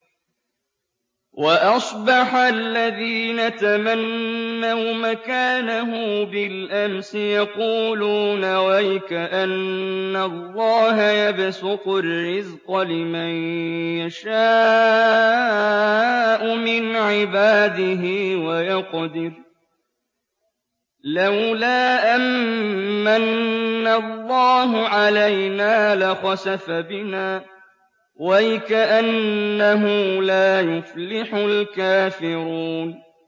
وَأَصْبَحَ الَّذِينَ تَمَنَّوْا مَكَانَهُ بِالْأَمْسِ يَقُولُونَ وَيْكَأَنَّ اللَّهَ يَبْسُطُ الرِّزْقَ لِمَن يَشَاءُ مِنْ عِبَادِهِ وَيَقْدِرُ ۖ لَوْلَا أَن مَّنَّ اللَّهُ عَلَيْنَا لَخَسَفَ بِنَا ۖ وَيْكَأَنَّهُ لَا يُفْلِحُ الْكَافِرُونَ